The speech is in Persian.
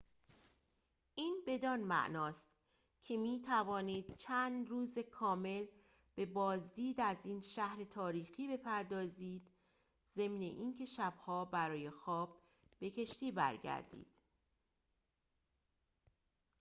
این بدان معناست که می‌توانید چند روز کامل به بازدید از این شهر تاریخی بپردازید ضمن این که شب‌ها برای خواب به کشتی برگردید